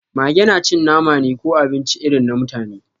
Mage na cin nama ne ko abinci irin na mutane